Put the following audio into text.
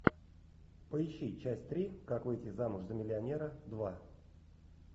поищи часть три как выйти замуж за миллионера два